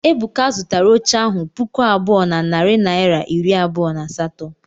Ebuka zụtara oche ahu puku abụọ na narị naịra iri abụọ na asatọ.